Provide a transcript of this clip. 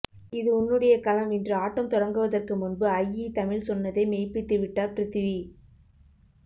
இது உன்னுடைய களம் இன்று ஆட்டம் தொடங்குவதற்கு முன்பு ஐஇ தமிழ் சொன்னதை மெய்ப்பித்துவிட்டார் ப்ரித்வி